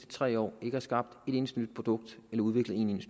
tre år ikke har skabt et eneste nyt produkt eller udviklet en